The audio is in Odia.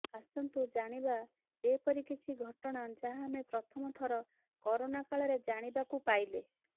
ଆସନ୍ତୁ ଜାଣିବା ଏପରି କିଛି ଘଟଣା ଯାହା ଆମେ ପ୍ରଥମ ଥର କରୋନ କାଳରେ ଜାଣିବାକୁ ପାଇଲେ